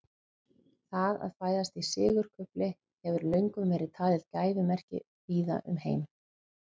það að fæðast í sigurkufli hefur löngum verið talið gæfumerki víða um heim